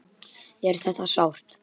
Er þetta sárt?